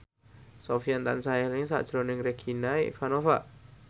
Sofyan tansah eling sakjroning Regina Ivanova